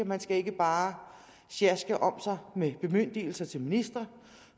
man skal ikke bare sjaske om sig med bemyndigelser til ministre